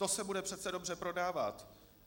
To se bude přece dobře prodávat!